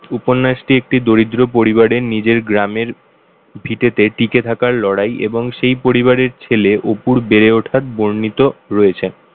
উপন্যাসটি একটি দরিদ্র পরিবারের নিজের গ্রামের ভিটেতে টিকে থাকার লড়াই এবং সেই পরিবারের ছেলে অপুর বেড়ে ওঠার বর্ণিত রয়েছে।